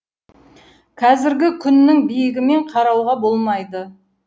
қазіргі күннің биігімен қарауға болмайды